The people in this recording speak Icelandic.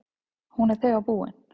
Hún er þegar búin.